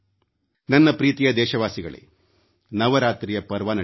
ನನ್ನ ಪ್ರೀತಿಯ ದೇಶವಾಸಿಗಳೇ ನವರಾತ್ರಿಯ ಪರ್ವ ನಡೆಯುತ್ತಿದೆ